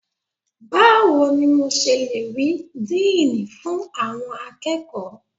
Báwo ni mo ṣe le rí Díínì fún àwọn akẹ́kọ̀ọ́?